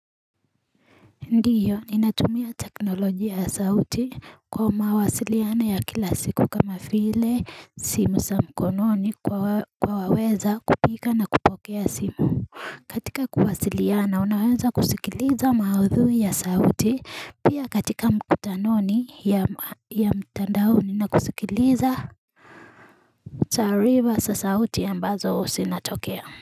Ndiyo ninatumia teknolojia ya sauti kwa mawasiliano ya kila siku kama vile simu za mkononi kuwa waweza kupiga na kupokea simu katika kuwasiliana unaweza kusikiliza maudhui ya sauti pia katika mkutanoni ya mtandao na kusikiliza Taarifaa za sauti ambazo zinatokea.